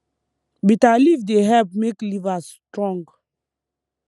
bitter leaf dey help make liver strong